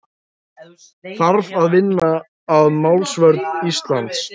Þarf að vinna að málsvörn Íslands